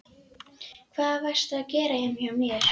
Hvað varstu að gera heima hjá mér?